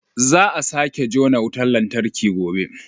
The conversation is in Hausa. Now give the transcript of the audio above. Za a sake jona wutar lantarki gobe